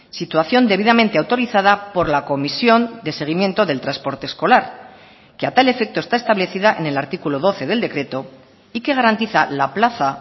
situación debidamente autorizada por la comisión de seguimiento del transporte escolar que a tal efecto está establecida en el artículo doce del decreto y que garantiza la plaza